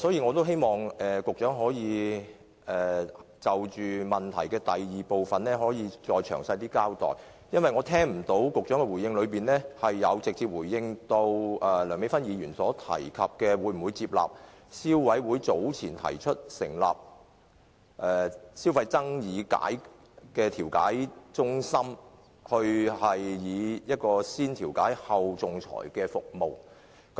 我希望局長可以就質詢第二部分再詳細交代，因為局長在答覆中沒有直接回應梁美芬議員的提問，會否採納消委會早前提出的建議，成立消費爭議解決中心，提供"先調解，後仲裁"的服務。